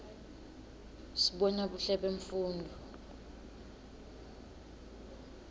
sibona buhle bemfundvo